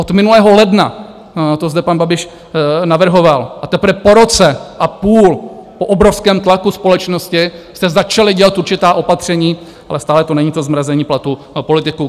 Od minulého ledna to zde pan Babiš navrhoval a teprve po roce a půl, po obrovském tlaku společnosti, jste začali dělat určitá opatření, ale stále to není to zmrazení platů politiků.